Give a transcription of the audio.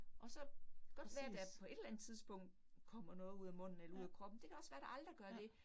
Og så godt være der på et eller andet tidspunkt kommer noget ud af munden eller ud af kroppen. Det kan også være, der aldrig gør det